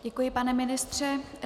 Děkuji, pane ministře.